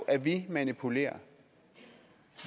at vi manipulerer